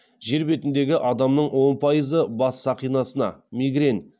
жер бетіндегі адамның он пайызы бас сақинасына